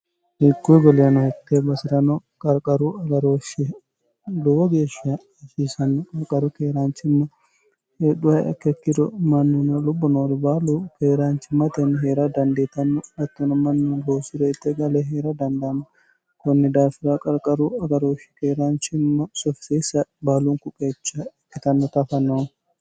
hikkuy hitee baserano qarqaru agarooshshi lowo geeshsha hasiisanno qarqaru keeraanchimma hedhuha ikkiro mannina lubbo noori baalu keeraanchimmatenni hee'ra dandiitanno hattono mannuno loosi're itte gale hee'ra dandaann konni daafira qarqaru agarooshshi keeraanchimma sofisiisa baalunku qeecha ikkitannota afa noo